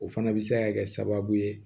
O fana bɛ se ka kɛ sababu ye